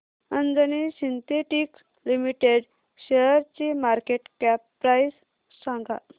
Anjani synthetics limited शेअरची market cap price सांगा